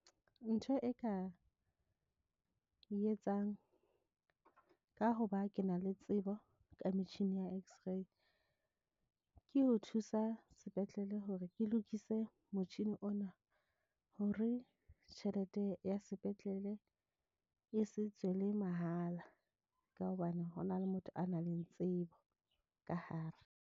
Ntho e ka e etsang ka hoba ke na le tsebo ka metjhini ya X_ray ke ho thusa sepetlele hore ke lokise motjhini ona, hore tjhelete ya sepetlele e se tswe le mahala ka hobane ho na le motho a na leng tsebo ka hare.